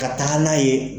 Ka taga n'a ye